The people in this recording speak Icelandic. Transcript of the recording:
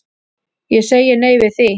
Ég segi nei við því.